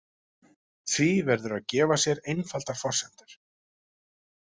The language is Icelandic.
Því verður að gefa sér einfaldar forsendur.